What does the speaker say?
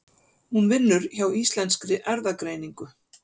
Hún vinnur hjá Íslenskri erfðagreiningu.